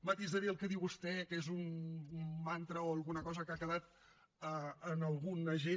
matisaré el que diu vostè que és un mantra o alguna cosa que ha quedat en alguna gent